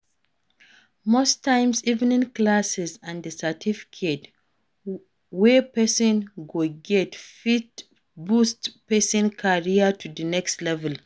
Most times evening classes and di certificate we person go get fit boost person career to di next level